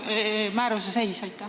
Milline on selle määruse seis?